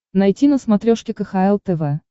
найти на смотрешке кхл тв